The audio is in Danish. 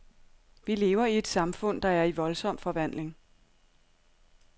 Vi lever i et samfund, der er i voldsom forvandling.